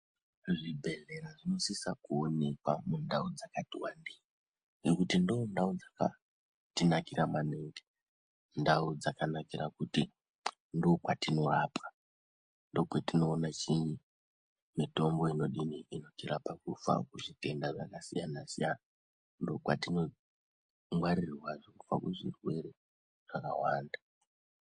Zvibhedhlera zvinosisa kuonekwa mundau dzakati vandei nekuti ndondau dzakatinakira maningi. Ndau dzakanakira kuti ndokwatinorapwa ndokwatinoona chinyi mitombo inodini inotirapa kubva kuzvitenda zvakasiyana-siyana, ndokwatinongwarirwa kubva kuzvirwere zvakawanda.